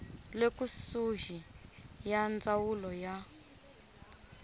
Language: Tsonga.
le kusuhi ya ndzawulo ya